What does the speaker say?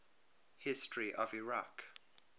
history of iraq